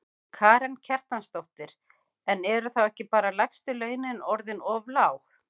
Karen Kjartansdóttir: En eru þá ekki bara lægstu launin orðin of lág?